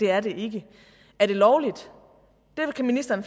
er er det lovligt det kan ministeren